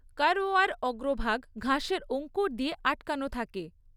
কারওয়ার অগ্রভাগ ঘাসের অংকুর দিয়ে আটকানো থাকে।